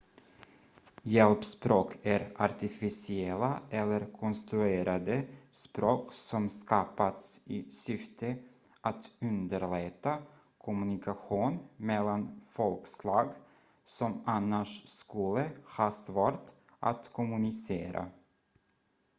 hjälpspråk är artificiella eller konstruerade språk som skapats i syfte att underlätta kommunikation mellan folkslag som annars skulle ha svårt att kommunicera